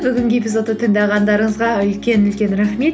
бүгінгі эпизодты тыңдағандарыңызға үлкен үлкен рахмет